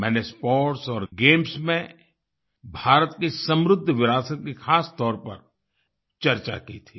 मैंने स्पोर्ट्स और गेम्स में भारत की समृद्ध विरासत की खासतौर पर चर्चा की थी